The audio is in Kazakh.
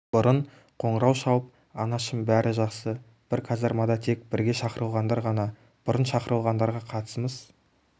бұрын қоңырау шалып анашым бәрі жақсы бір казармада тек бірге шақырылғандар ғана бұрын шақырылғандарға қатысымыз